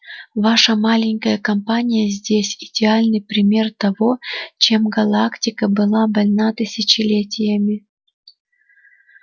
ваша маленькая компания здесь идеальный пример того чем галактика была больна тысячелетиями